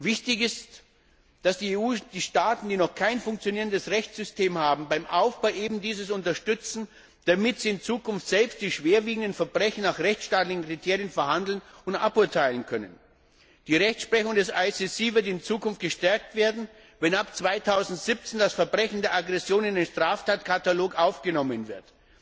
Wichtig ist, dass die EU die Staaten, die noch kein funktionierendes Rechtssystem haben, beim Aufbau eines solchen unterstützt, damit sie in Zukunft selbst die schwerwiegenden Verbrechen nach rechtsstaatlichen Kriterien verhandeln und aburteilen können. Die Rechtsprechung des IStGH wird in Zukunft gestärkt werden, wenn ab 2017 das Verbrechen der Aggression in den Straftatkatalog aufgenommen wird.